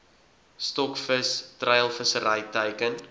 stokvis treilvissery teiken